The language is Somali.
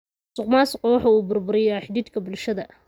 Musuqmaasuqu waxa uu burburiyaa xidhiidhka bulshada.